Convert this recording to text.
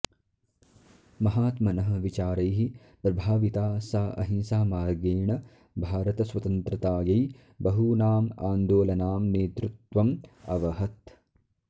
महात्मनः विचारैः प्रभाविता सा अहिंसामार्गेण भारतस्वतन्त्रतायै बहूनाम् आन्दोलनां नेतृत्वम् अवहत्